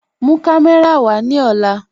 Mú kàmẹ̀rà wa ni ọ̀là